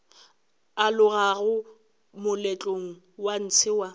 alogago moletlong wa ntshe wa